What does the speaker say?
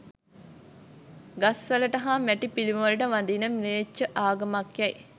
ගස් වලට හා මැටි පිළිමවලට වඳින ම්ලේච්ඡ ආගමකැයි